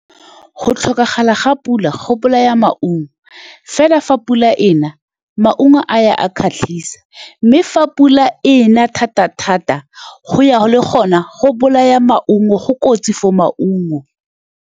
Go tlhokagala ga pula go bolaya maungo fela fa pula e na maungo a ya a kgatlhisa, mme fa pula e na thata-thata go ya go le gone go bolaya maungo go kotsi for maungo.